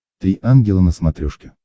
три ангела на смотрешке